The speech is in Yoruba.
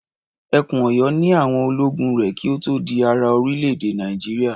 Ẹkùn Ọ̀yọ́ ni àwọn ológun rẹ̀ kí ó tó di ara orílẹ̀-èdè Nàìjíríà.